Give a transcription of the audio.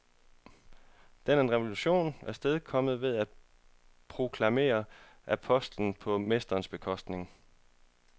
Den er en revolution, afstedkommet ved at proklamere apostlen på mesterens bekostning.